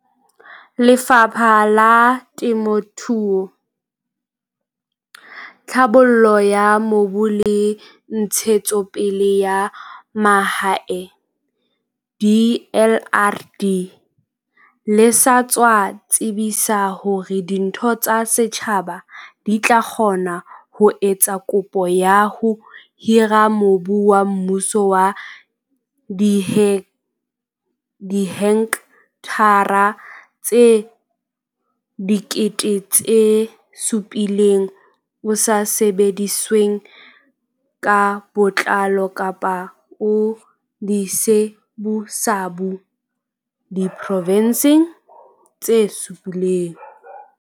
Lefapha la Temo thuo, Tlhabollo ya Mobu le Ntshetsopele ya Mahae DLRD le sa tswa tsebisa hore ditho tsa setjhaba di tla kgona ho etsa kopo ya ho hira mobu wa mmuso wa dihekthara tse 700 000 o sa sebedisweng ka botlalo kapa o disabusabu diprovenseng tse supileng.